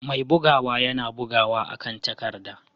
Mai bugawa yana bugawa akan takarda.